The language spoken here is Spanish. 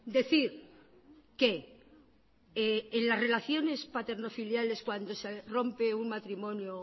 decir que en las relaciones paternofiliares cuando se rompe un matrimonio o